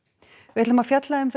við ætlum að fjalla um